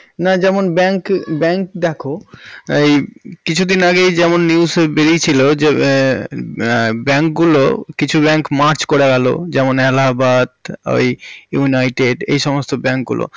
না যেমন bank bank দেখো এই কিছুদিন আগে যেমন news এ বারিয়েছিল যে bank গুলো কিছু bank merge করে গেল যেমন allhabad united এর সমস্ত bank গুলো